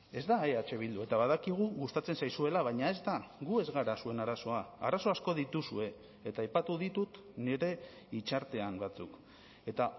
ez da eh bildu eta badakigu gustatzen zaizuela baina ez da gu ez gara zuen arazoa arazo asko dituzue eta aipatu ditut nire hitzartean batzuk eta